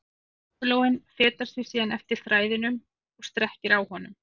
Köngulóin fetar sig síðan eftir þræðinum og strekkir á honum.